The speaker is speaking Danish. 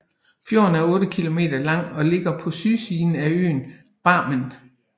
Fjorden er 8 kilometer lang og ligger på sydsiden af øen Barmen